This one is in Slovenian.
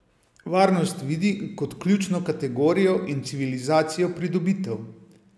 Varnost vidi kot ključno kategorijo in civilizacijsko pridobitev.